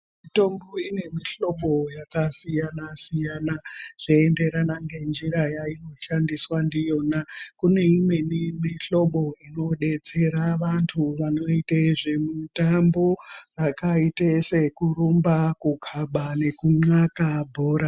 Mitombo ine mihlobo yakasiyana -siyana, zveienderana ngenjira yainoshandiswa ndiyona. Kune imweni mihlobo inodetsera vantu vanoite zvemutambo zvakaita sekurumba kunxaka nekukhabe bhora.